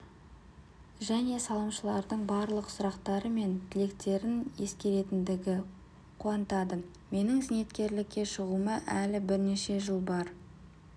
және салымшылардың барлық сұрақтары мен тілектерін ескеретіндігі қуантады менің зейнеткерлікке шығуыма әлі бірнеше жыл бар